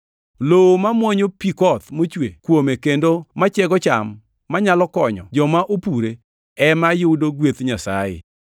Lowo ma mwonyo pi koth mochwe kuome kendo machiego cham manyalo konyo joma opure, ema yudo gweth Nyasaye.